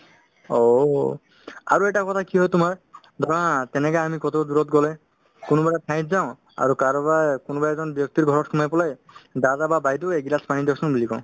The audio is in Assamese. অ', আৰু এটা কথা কি হয় তোমাৰ ধৰা তেনেকা আমি ক'ত দূৰত গ'লে কোনোবা এটা ঠাইত যাওঁ আৰু কাৰোবাৰ কোনোবা এজন ব্যক্তিৰ ঘৰত সোমাই পেলাই দাদা বা বাইদেউ এক গিলাচ পানী দিয়কচোন বুলি কওঁ